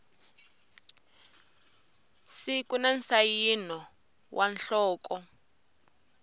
siku na nsayino wa nhloko